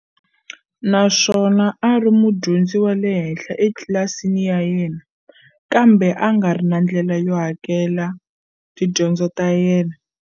Naswona a ri mudyondzi wa le henhla etlilasini ya yena, kambe angari na ndlela yo hakelela tidyondzo ta yena.